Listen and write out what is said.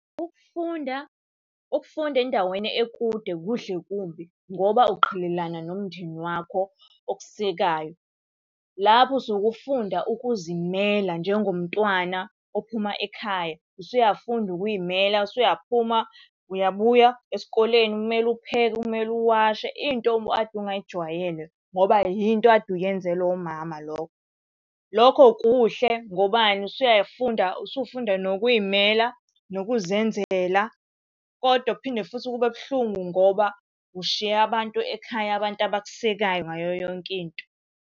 Ukufunda, ukufunda endaweni ekude kuhle kumbi ngoba uqhelelana nomndeni wakho okusekayo. Lapho usuke ufunda ukuzimela njengomntwana ophuma ekhaya. Usuyafunda ukuy'mela, usuyaphuma uyabuya esikoleni kumele upheke, kumele uwashe, into obukade ungayijwayele ngoba yinto okade uyenzelwa umama lokho. Lokho kuhle, ngobani, usuyafunda usufunda nokuy'mela nokuzenzela. Kodwa kuphinde futhi kube buhlungu ngoba ushiye abantu ekhaya, abantu abakusekayo ngayo yonke into.